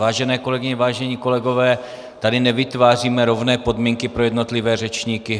Vážené kolegyně, vážení kolegové, tady nevytváříme rovné podmínky pro jednotlivé řečníky.